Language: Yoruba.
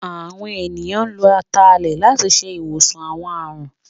Àwọn ènìyàn lo Atalẹ̀ láti ṣe ìwòsàn àwọn àrùn